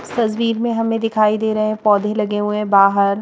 इस तस्वीर में हमें दिखाई दे रहे हैं पौधे लगे हुए हैं बाहर।